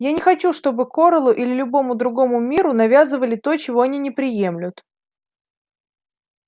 я не хочу чтобы корелу или любому другому миру навязывали то чего они не приемлют